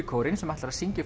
kórinn sem ætlar að syngja